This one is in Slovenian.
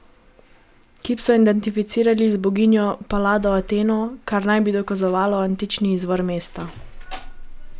Kip so identificirali z boginjo Palado Ateno, kar naj bi dokazovalo antični izvor mesta.